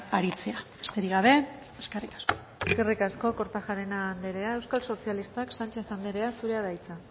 aritzea besterik gabe eskerrik asko eskerrik asko kortajarena andrea euskal sozialistak sánchez andrea zurea da hitza